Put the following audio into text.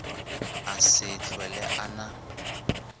a sa hlwele a na